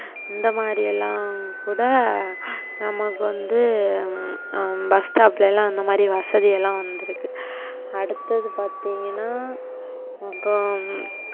இந்த மாரியெல்லாம் கூட நமக்கு வந்து உம் bus stop லலாம் அந்த மாதிரி வசதி எல்லாம் வந்திருக்கு. அடுத்தது பார்த்திங்கனா அப்புறம்.